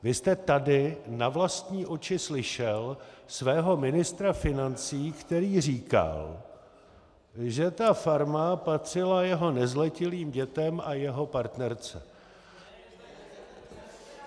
Vy jste tady na vlastní uši slyšel svého ministra financí, který říkal, že ta farma patřila jeho nezletilým dětem a jeho partnerce.